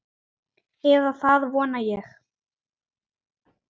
Eða það vona ég